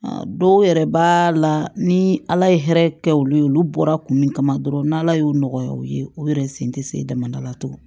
Dɔw yɛrɛ b'a la ni ala ye hɛrɛ kɛ olu ye olu bɔra kun min kama dɔrɔn n'ala y'o nɔgɔya u ye u yɛrɛ sen tɛ se dama la tugun